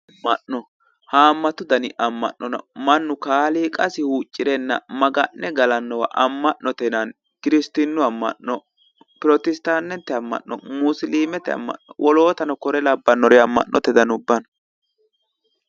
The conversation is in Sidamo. Ama'no, ama'no haamatu danni ama'no no ,mannu kayinni ama'ne gallanowa ama'note yinnanni, kiristinu ama'no, pirositatete ama'no ,musilimete ama'no wolootuno kore labbanori ama'note danni no.